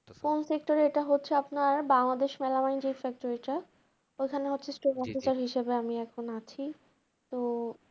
কোন sector এ এটা হচ্ছে আপনার বাংলাদেশ melamine যে factory টা, ঐখানে হচ্ছে store officer হিসাবে আমি এখন আছি, তো